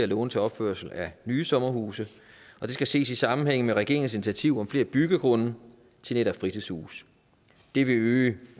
låne til opførelse af nye sommerhuse og det skal ses i sammenhæng med regeringens initiativ om flere byggegrunde til netop fritidshuse det vil øge